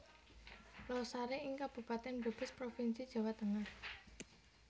Losari ing Kabupaten Brebes Provinsi Jawa Tengah